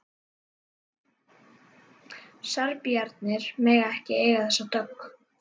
Serbarnir mega ekki eiga þessa dögg!